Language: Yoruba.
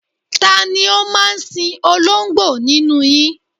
Ta ni ó máa sin oló̩ǹgbò nínú yin?